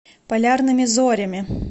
полярными зорями